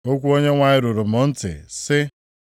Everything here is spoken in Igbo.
Okwu Onyenwe anyị ruru m ntị, sị,